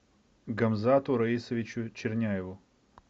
гамзату раисовичу черняеву